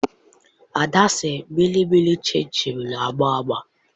Ada sị Mịnịmịị shịnshịn na-agba agba